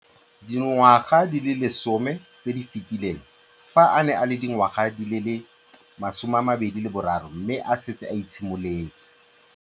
Dingwaga di le 10 tse di fetileng, fa a ne a le dingwaga di le 23 mme a setse a itshimoletse.